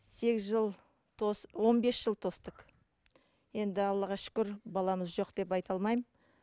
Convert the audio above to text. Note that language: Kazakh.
сегіз жыл он бес жыл тостық енді аллаға шүкір баламыз жоқ деп айта алмаймын